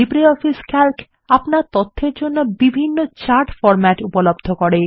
LibreOffice Calc আপনার তথ্যর জন্য বিভিন্ন চার্ট ফরম্যাট উপলব্ধ করে